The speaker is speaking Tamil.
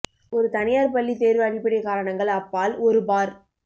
ஒரு தனியார் பள்ளி தேர்வு அடிப்படை காரணங்கள் அப்பால் ஒரு பார்